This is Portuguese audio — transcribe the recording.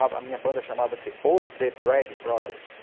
A minha banda chamava-se Os The Bleg Brothers.